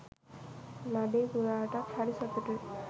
නඩේ ගුරාටත්හරි සතුටුයි.